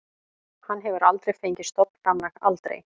Hann hefur aldrei fengið stofnframlag, aldrei.